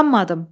Qanmadım.